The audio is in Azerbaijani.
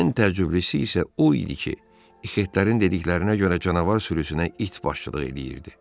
Ən təəccüblüsü isə o idi ki, ixetlərin dediklərinə görə canavar sürüsünə it başçılıq edirdi.